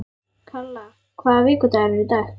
Kalla, hvaða vikudagur er í dag?